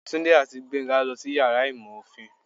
Tunde ati Gbenga losí iyàrá ìmọ ofín